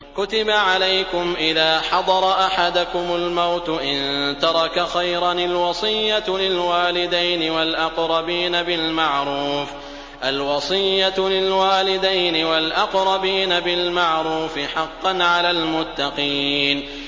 كُتِبَ عَلَيْكُمْ إِذَا حَضَرَ أَحَدَكُمُ الْمَوْتُ إِن تَرَكَ خَيْرًا الْوَصِيَّةُ لِلْوَالِدَيْنِ وَالْأَقْرَبِينَ بِالْمَعْرُوفِ ۖ حَقًّا عَلَى الْمُتَّقِينَ